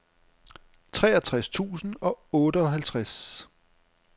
treogtres tusind og otteoghalvtreds